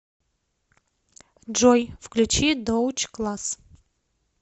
джой включи доутч класс